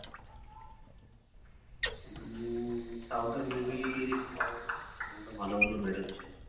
south এর movie ভালো ভালো বেরোচ্ছে